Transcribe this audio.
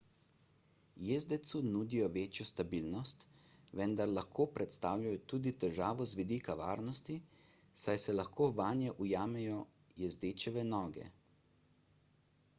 jezdecu nudijo večjo stabilnost vendar lahko predstavljajo tudi težavo z vidika varnosti saj se lahko vanje ujamejo jezdečeve noge